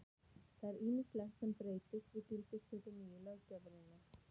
Það er ýmislegt sem breytist við gildistöku nýju löggjafarinnar.